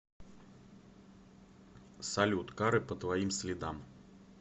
салют ка ре по твоим следам